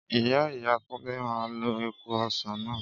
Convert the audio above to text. ìyá ìyá Túndé máa lo èèpo ọsán náà